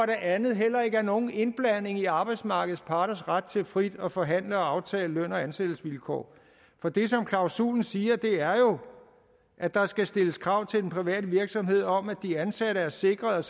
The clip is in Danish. det andet heller ikke er nogen indblanding i arbejdsmarkedets parters ret til frit at forhandle og aftale løn og ansættelsesvilkår for det som klausulen siger er jo at der skal stilles krav til en privat virksomhed om at de ansatte er sikret